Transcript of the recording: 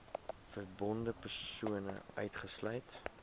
verbonde persone uitgesluit